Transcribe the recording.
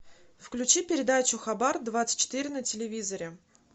включи передачу хабар двадцать четыре на телевизоре